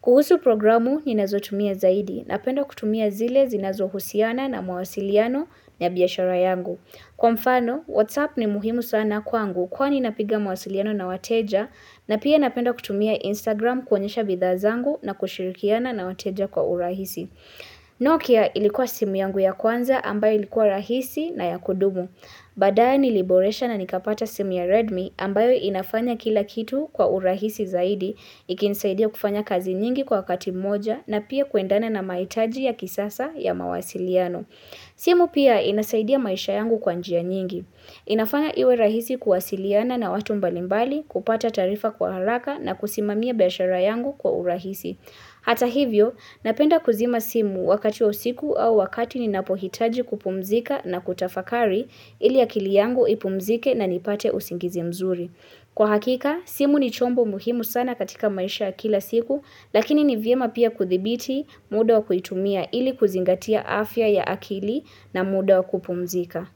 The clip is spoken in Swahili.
Kuhusu programu, ninazotumia zaidi. Napenda kutumia zile zinazohusiana na mawasiliano ya biashara yangu. Kwa mfano, Whatsapp ni muhimu sana kwangu kwani napiga mawasiliano na wateja na pia napenda kutumia Instagram kuonyesha bidhaa zangu na kushirikiana na wateja kwa urahisi. Nokia ilikuwa simu yangu ya kwanza ambayo ilikuwa rahisi na ya kudumu. Baadaye niliboresha na nikapata simu ya Redmi ambayo inafanya kila kitu kwa urahisi zaidi, ikinisaidia kufanya kazi nyingi kwa kati moja na pia kuendana na mahitaji ya kisasa ya mawasiliano. Simu pia inasaidia maisha yangu kwa njia nyingi. Inafanya iwe rahisi kuwasiliana na watu mbalimbali kupata taarifa kwa haraka na kusimamia biashara yangu kwa urahisi. Hata hivyo, napenda kuzima simu wakati wa usiku au wakati ninapohitaji kupumzika na kutafakari ili akili yangu ipumzike na nipate usingizi mzuri. Kwa hakika, simu ni chombo muhimu sana katika maisha ya kila siku, lakini ni vyema pia kudhibiti muda wa kuitumia ili kuzingatia afya ya akili na muda wa kupumzika.